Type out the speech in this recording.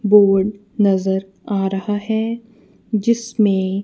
board नजर आ रहा है जिसमें--